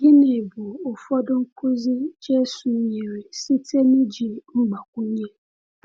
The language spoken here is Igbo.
Gịnị bụ ụfọdụ nkuzi Jésù nyere site n’iji mgbakwunye?